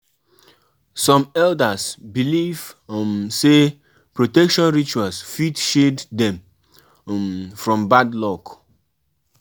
Na so I dey dis morning, my husband serve me food for bed.